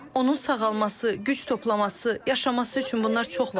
Onun sağalması, güc toplaması, yaşaması üçün bunlar çox vacibdir.